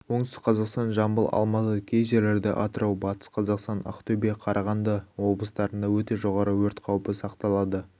оңтүстік-қазақстан жамбыл алматы кей жерлерде атырау батыс-қазақстан ақтөбе қарағанды облыстарында өте жоғары өрт қаупі сақталады